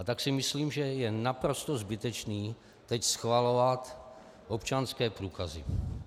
A tak si myslím, že je naprosto zbytečné teď schvalovat občanské průkazy.